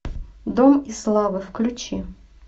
дом и слава включи